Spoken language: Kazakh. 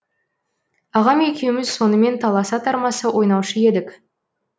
ағам екеуіміз сонымен таласа тармаса ойнаушы едік